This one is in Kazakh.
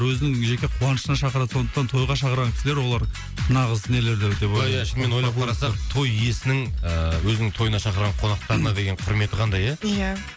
өзінің жеке қуанышына шақырады сондықтан тойға шақырған кісілер олар нағыз ия ия шынымен ойлап қарасақ той иесінің ііі өзінің тойына шақырған қонақтарына деген құрметі қандай ия ия